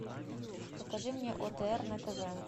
покажи мне отр на тв